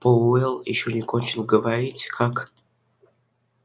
пауэлл ещё не кончил говорить как